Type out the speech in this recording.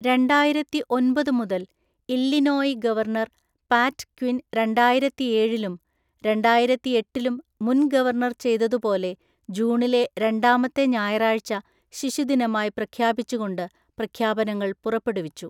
രണ്ടായിരത്തി ഒന്‍പതു മുതൽ ഇല്ലിനോയി ഗവർണർ പാറ്റ് ക്വിൻ രണ്ടായിരത്തിഏഴിലും രണ്ടായിരത്തിഎട്ടിലും മുൻ ഗവർണർ ചെയ്തതുപോലെ ജൂണിലെ രണ്ടാമത്തെ ഞായറാഴ്ച ശിശുദിനമായി പ്രഖ്യാപിച്ചുകൊണ്ട് പ്രഖ്യാപനങ്ങൾ പുറപ്പെടുവിച്ചു.